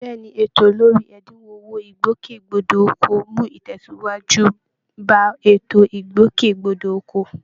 Bẹ́ẹ̀ ni, ètò lórí ẹ̀dínwó owó ìgbòkègbodò ọkọ̀ mú ìtẹ̀síwájú bá ètò ìgbòkègbodò ọkọ̀